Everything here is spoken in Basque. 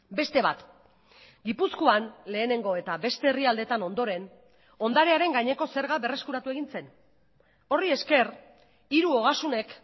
beste bat gipuzkoan lehenengo eta beste herrialdetan ondoren ondarearen gaineko zerga berreskuratu egin zen horri esker hiru ogasunek